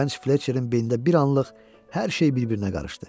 Gənc Fletçerin beynində bir anlıq hər şey bir-birinə qarışdı.